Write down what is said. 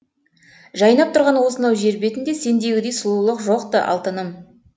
жайнап тұрған осынау жер бетінде сендегідей сұлулық жоқ ты алтыным